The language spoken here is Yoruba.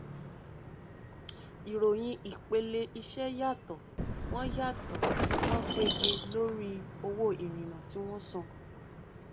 ìròyìn ìpele iṣẹ yàtọ wọn yàtọ wọn pege lórí owó ìrìnà tí wọn san